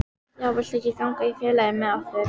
Já, viltu ekki ganga í félagið með okkur?